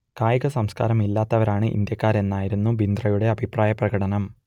കായികസംസ്കാരം ഇല്ലാത്തവരാണ് ഇന്ത്യക്കാരെന്ന് ആയിരുന്നു ബിന്ദ്രയുടെ അഭിപ്രായ പ്രകടനം